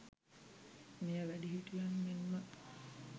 මෙය වැඩිහිටියන් මෙන්ම